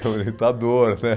Que é orientador, né?